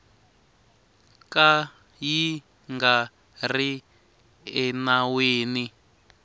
ka yi nga ri enawini